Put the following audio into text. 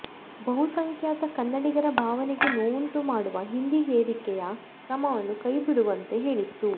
ಬಹುಸಂಖ್ಯಾತ ಕನ್ನಡಿಗರ ಭಾವನೆಗೆ ನೋವುಂಟು ಮಾಡುವ ಹಿಂದಿ ಹೇರಿಕೆಯ ಕ್ರಮವನ್ನು ಕೈಬಿಡುವಂತೆ ಹೇಳಿತ್ತು